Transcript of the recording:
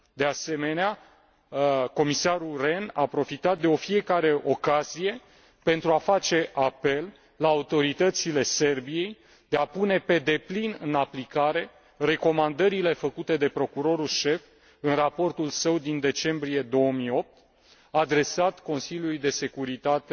De asemenea, comisarul Rehn a profitat de fiecare ocazie pentru a face apel la autoritățile Serbiei de a pune pe deplin în aplicare recomandările făcute de procurorul șef în raportul său din decembrie 2008, adresat Consiliului de securitate